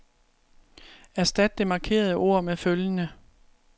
Erstat det markerede ord med følgende.